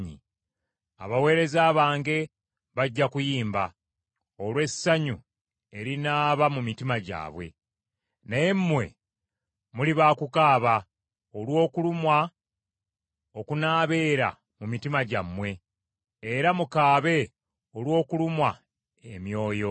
Abaweereza bange bajja kuyimba olw’essanyu erinaaba mu mitima gyabwe, naye mmwe muli ba kukaaba olw’okulumwa okunaabeera mu mitima gyammwe era mukaabe olw’okulumwa emyoyo.